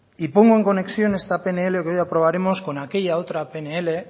y pongo en conexión esta pnl que hoy aprobaremos con aquella otra pnl